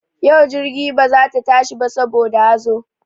Yau jirgi ba za ta tashi ba saboda hazo.